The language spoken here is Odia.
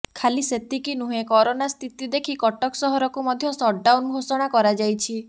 ଖାଲି ସେତିକି ନୁହେଁ କରୋନା ସ୍ଥିତି ଦେଖି କଟକ ସହରକୁ ମଧ୍ୟ ସଟଡାଉନ୍ ଘୋଷଣା କରାଯାଇଛି